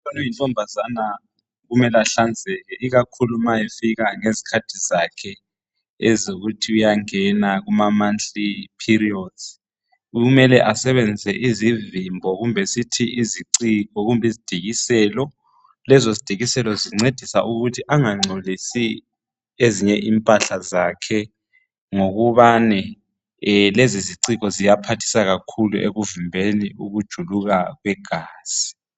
Umntwana oyintombazana kumele ahlanzeke ikakhulu ma efika ngezikhathi zakhe ezokuthi uyangena kuma monthly period kumele asebezise izivimbo kumbe sithi iziiciko kumbe izidikiselo lezo zidikiselo zincedisa ukuthi angangcolisi ezinye impahla zakhe ngokubani lezoziciko ziyaphathisa kakhulu ekuvimbeni ukujuluka kwegazi